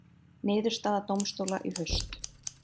Niðurstaða dómstóla í haust